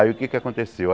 Aí o que é que aconteceu?